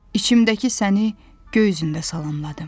İçimdəki səni göy üzündə salamladım.